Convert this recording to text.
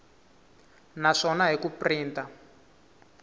na swona hi ku printa